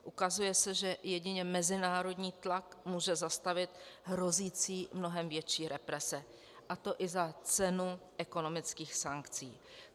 Ukazuje se, že jedině mezinárodní tlak může zastavit hrozící mnohem větší represe, a to i za cenu ekonomických sankcí.